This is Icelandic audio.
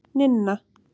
Ninna